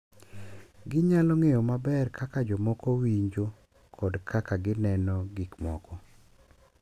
Ginyalo ng’eyo maber kaka jomoko winjo kod kaka gineno gik moko.